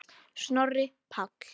Snorri Páll.